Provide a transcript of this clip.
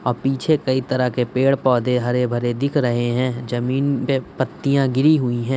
अ पीछे कई तरह के पेड़ पौधे हरे भरे दिख रहे हैं। जमीन पे पत्तियाँ गिरी हुई हैं।